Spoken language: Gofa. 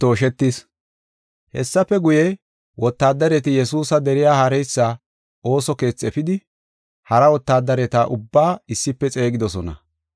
Hessafe guye, wotaadareti Yesuusa deriya haareysa ooso keethi efidi, hara wotaadareta ubbaa issife xeegidosona.